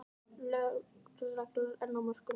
Löglegar en á mörkunum